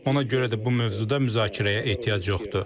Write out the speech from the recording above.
Ona görə də bu mövzuda müzakirəyə ehtiyac yoxdur.